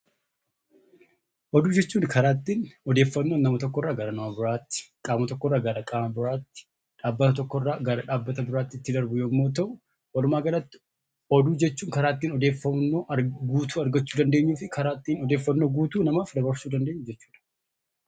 Oduu jechuun karaa ittiin odeeffannoon nama tokkorraa gara nama biraatti, qaama tokkorraa gara qaama biraatti, dhaabbata tokkorraa gara dhaabbata biraatti itti darbu yemmuu ta'u walumaa galatti oduu jechuun karaa ittin odeeffannoo guutuu argachuu dandeenyuu fi karaa ittiin odeeffannoo guutuu namaaf dabarsuu dandeenyu jechuudha.